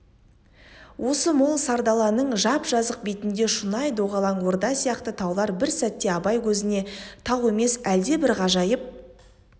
осы мол сардаланың жап-жазық бетінде шұнай доғалаң орда сияқты таулар бір сәтте абай көзіне тау емес әлдебір ғажайып